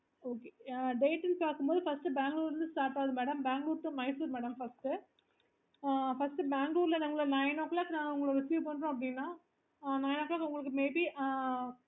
banglore to Mysore madam first ஆஹ் first Bangalore நாங்க nine o clock நாங்க உங்களுக்கு பண்றோம் அப்பிடின்னா nine o clock maybe